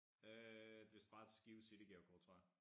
Øh det til bare til Skive City gavekort tror jeg